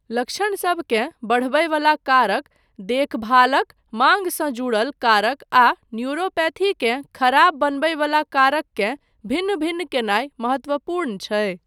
लक्षणसबकेँ बढ़बयवला कारक, देखभालक माँगसँ जुड़ल कारक आ न्यूरोपैथीकेँ खराब बनबयवला कारक केँ भिन्न भिन्न कयनाय महत्वपूर्ण छै।